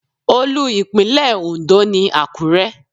Olú ìlú Ìpínlẹ̀ Ondo ni Àkúrẹ́.